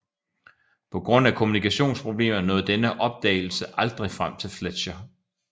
På grund af kommunikationsproblemer nåede denne opdagelse aldrig frem til Fletcher